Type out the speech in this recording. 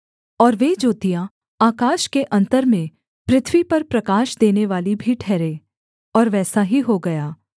और वे ज्योतियाँ आकाश के अन्तर में पृथ्वी पर प्रकाश देनेवाली भी ठहरें और वैसा ही हो गया